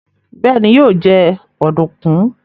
béèni yíò jé Ọ̀dùnkún.